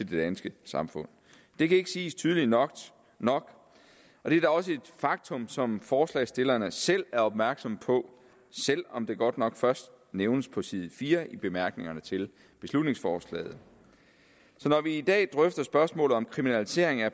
danske samfund det kan ikke siges tydeligt nok nok og det er da også et faktum som forslagsstillerne selv er opmærksomme på selv om det godt nok først nævnes på side fire i bemærkningerne til beslutningsforslaget så når vi i dag drøfter spørgsmålet om kriminalisering af